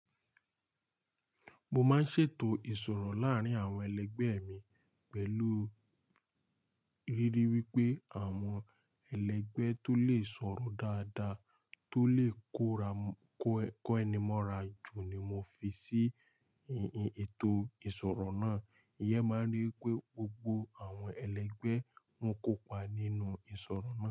Mo máa ń ṣètò ìsọ̀rọ̀ láárín àwọn ẹlẹgbẹ́ mi pẹ̀lú ríri wípé àwọn ẹlẹgbẹ́ tó lè sọ̀rọ̀ dáadáa tó lè kó ẹni mọ́ra jù ni mo fi sí ètò ìsọ̀rọ̀ náà. Eeyan máa ń rí wipé gbogbo àwọn ẹlẹgbẹ́ ń kópa nínú ìsọ̀rọ̀ náà.